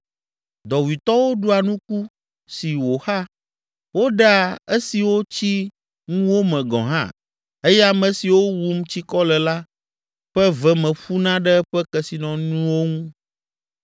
Dɔwuitɔwo ɖua nuku si wòxa, woɖea esiwo tsi ŋuwo me gɔ̃ hã eye ame siwo wum tsikɔ le la ƒe ve me ƒuna ɖe eƒe kesinɔnuwo ŋu.